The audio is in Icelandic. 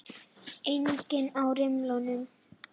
Enginn á rimlunum.